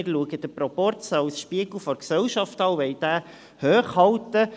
Wir schauen den Proporz als Spiegel der Gesellschaft an und wollen diesen hochhalten.